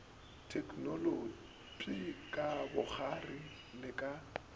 theknolotpi ka bokgwari le ka